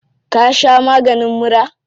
Ka sha maganin mura?